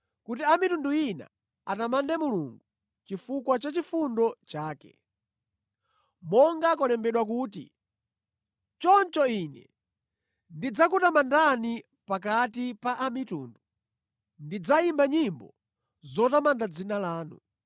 kuti a mitundu ina atamande Mulungu chifukwa cha chifundo chake. Monga kwalembedwa kuti, “Choncho ine ndidzakutamandani pakati pa a mitundu; ndidzayimba nyimbo zotamanda dzina lanu.”